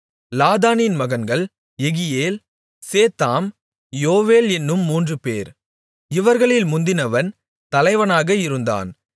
லாதானின் மகன்கள் Jehiel Zetham Joel என்னும் மூன்றுபேர் இவர்களில் முந்தினவன் தலைவனாக இருந்தான்